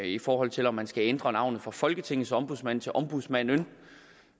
i forhold til om man skal ændre navnet fra folketingets ombudsmand til ombudsmand